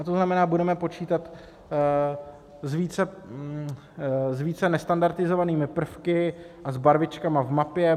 A to znamená, budeme počítat s více nestandardizovanými prvky a s barvičkami v mapě.